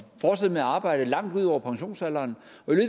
fortsætter med at arbejde langt ud over pensionsalderen